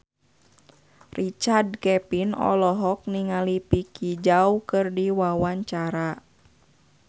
Richard Kevin olohok ningali Vicki Zao keur diwawancara